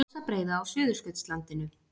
Mosabreiða á Suðurskautslandinu.